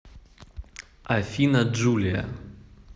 афина джулия